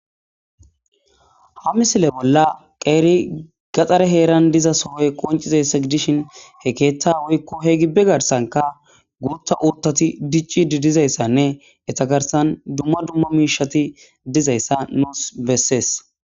Ha misile bolla qeeri gaxxare heeran diza sohoy qoncizayssa gidishin he keeta woykko he gibbe garsanka guutta urtati dicci didizayssanne etagarsan dumma dumma miishati dizayssa nuus bessees.